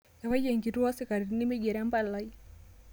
Ewaki enkituo oo sikarini meigro empalai